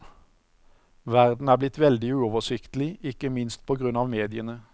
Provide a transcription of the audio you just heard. Verden er blitt veldig uoversiktig, ikke minst på grunn av mediene.